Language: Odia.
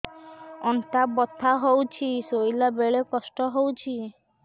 ଅଣ୍ଟା ବଥା ହଉଛି ଶୋଇଲା ବେଳେ କଷ୍ଟ ହଉଛି